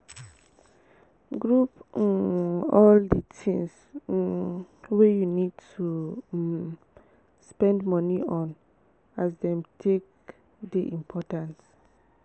group um all di things um wey you need to um spend moni on as dem take dey important